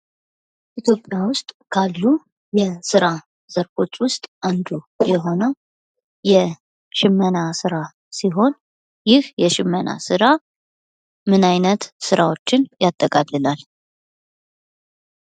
ኢትዮጵያ ውስጥ ካሉ የሥራ ዘርፎች ውስጥ አንዱ የሆነው የሽመና ስራ ሲሆን፤ ይህ የሽመና ስራ ምን አይነት ሥራዎችን ያጠቃልላል?